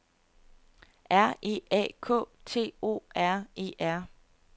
R E A K T O R E R